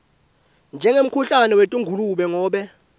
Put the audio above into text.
njengemkhuhlane wetingulube ngobe